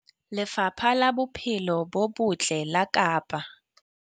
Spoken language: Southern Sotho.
Lefapha la Bophelo bo Botle la Kapa.